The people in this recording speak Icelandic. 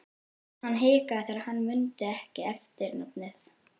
Hann hikaði þegar hann mundi ekki eftirnafnið.